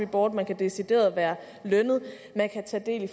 board man kan decideret være lønnet man kan tage del i